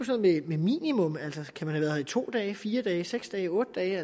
som et minimum altså kan man her i to dage fire dage seks dage otte dage